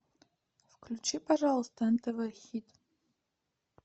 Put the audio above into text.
включи пожалуйста нтв хит